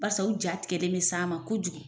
Barisa u jatigɛlen bɛ s'an ma kojugu